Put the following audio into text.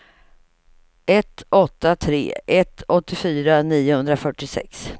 ett åtta tre ett åttiofyra niohundrafyrtiosex